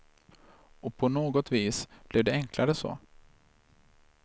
Och på något vis blev det enklare så.